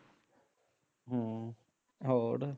ਹਮ ਹੋਰ